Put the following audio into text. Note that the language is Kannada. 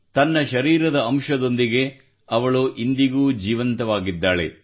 ತನ್ನ ಶರೀರದ ಅಂಶದೊಂದಿಗೆ ಅವಳು ಇಂದಿಗೂ ಜೀವಂತವಾಗಿದ್ದಾಳೆ